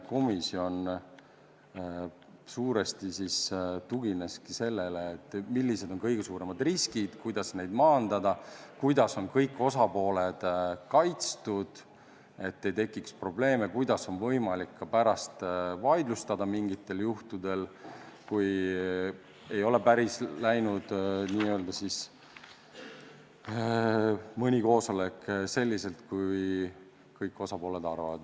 Komisjon suuresti tugineski sellele, millised on kõige suuremad riskid, kuidas neid maandada, kuidas on kõik osapooled kaitstud, et ei tekiks probleeme, ja kuidas on võimalik pärast mingitel juhtudel vaidlustada, kui mõni koosolek ei ole n-ö läinud päris selliselt, nagu kõik osapooled arvavad.